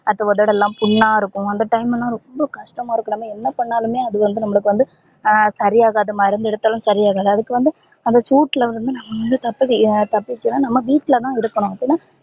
அது ஒதடுலா புண்ணா இருக்கும் அந்த time லலா ரொம்ப கஷ்டமா இருக்கும் என்ன பண்ணலுமே அது வந்து நம்பலுக்கு வந்து சரி ஆகாது மருந்து எடுத்தாலும் சரி ஆகாது அதுக்கு வந்து அந்த சூட்ல வந்து நம்ப வந்து தப்பிக்க தப்பிக்க நம்ம வீட்லதா இருக்கணும் அப்பதா